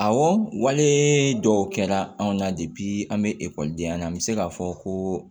Awɔ wale dɔw kɛra anw na an bɛ ekɔlidenya la an bɛ se k'a fɔ ko